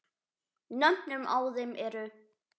Nöfnin á þeim eru